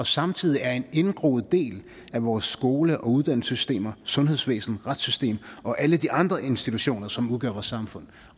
samtidig er en indgroet del af vores skole og uddannelsessystem sundhedsvæsen retsvæsen og alle de andre institutioner som udgør vores samfund